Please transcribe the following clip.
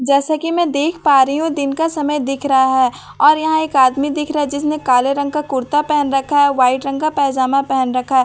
जैसा कि मैं देख पा रही हूं दिन का समय दिख रहा है और यहां एक आदमी दिख रहा है जिसने काले रंग का कुर्ता पहन रखा है और व्हाइट रंग का पैजामा पहन रखा है उसके साम --